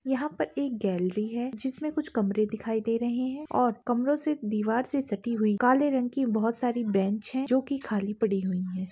यहाँ पर एक गॅलेरी है जिस में कुछ कमरे दिखाई दे रहे है और कमरों से दीवार से सटी हुई काले रंग की बहुत साड़ी बेंच है जो की खाली पड़ी हुई है।